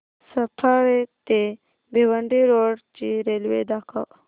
सफाळे ते भिवंडी रोड ची रेल्वे दाखव